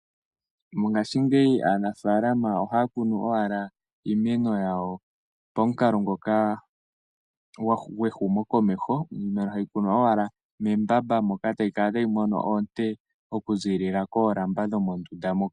Mongaashingeyi aanafaalama ohaya kunu owala iimeno yawo pamukalo ngoka gwehumokomeho iimeno ohayi kunwa owala membamba moka etayi kala tayi mono oonte okuziilila mondunda moka.